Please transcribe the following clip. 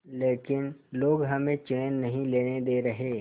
लेकिन लोग हमें चैन नहीं लेने दे रहे